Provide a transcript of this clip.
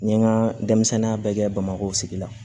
N ye n ka denmisɛnninya bɛɛ kɛ bamakɔ sigi la